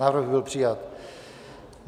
Návrh byl přijat.